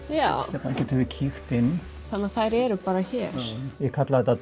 hérna getum við kíkt inn þannig að þær eru bara hér ég kalla þetta